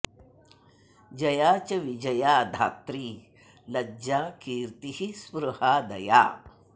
जया च विजया धात्री लज्जा कीर्तिः स्पृहा दया